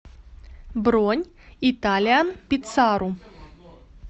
бронь италианпицару